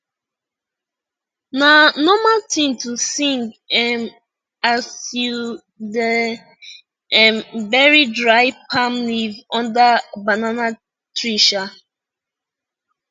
na normal tin to sing um as u da um bury dry palm leave under banana tree um